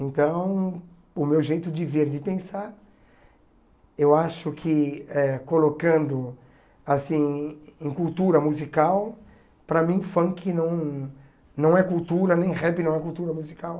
Então, o meu jeito de ver, de pensar, eu acho que eh colocando assim em cultura musical, para mim, funk não não é cultura, nem rap não é cultura musical.